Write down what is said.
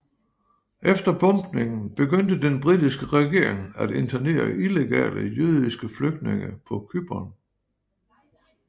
Efter bombningen begyndte den britiske regering at internere illegale jødiske flygtninge på Cypern